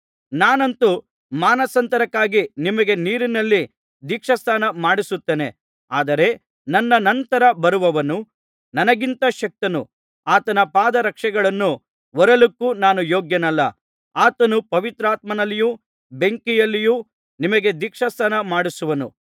ನಾನಂತೂ ಮಾನಸಾಂತರಕ್ಕಾಗಿ ನಿಮಗೆ ನೀರಿನಲ್ಲಿ ದೀಕ್ಷಾಸ್ನಾನ ಮಾಡಿಸುತ್ತೇನೆ ಆದರೆ ನನ್ನ ನಂತರ ಬರುವವನು ನನಗಿಂತ ಶಕ್ತನು ಆತನ ಪಾದರಕ್ಷೆಗಳನ್ನು ಹೊರಲಿಕ್ಕೂ ನಾನು ಯೋಗ್ಯನಲ್ಲ ಆತನು ಪವಿತ್ರಾತ್ಮನಲ್ಲಿಯೂ ಬೆಂಕಿಯಲ್ಲಿಯೂ ನಿಮಗೆ ದೀಕ್ಷಾಸ್ನಾನಮಾಡಿಸುವನು